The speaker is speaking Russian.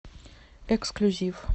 эксклюзив